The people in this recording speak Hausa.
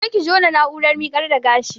Je ki jona na'urar miƙar da gashi